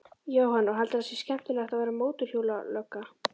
Jóhann: Og heldurðu að það sé skemmtilegast að vera mótorhjólalögga?